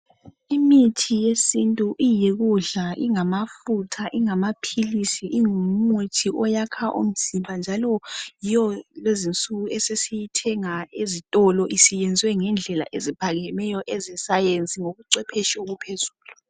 Imithi yesintu iyikudla, ingamafutha , ingamaphilisi, ingumuthi oyakha umzimba njalo yiyo lezinsuku esesiyithenga ezitolo isiyenziwe ngendlela eziphakemeyo eze sainzi ngobucwephetshu obuphezulu.